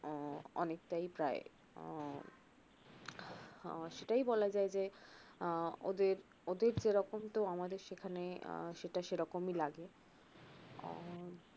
অনেকটাই প্রায় উহ আহ সেটাই বলা যায় যে আহ ওদের ওদের যেরকম তো আমাদের সেখানে আহ সেটা সেরকমই লাগে উহ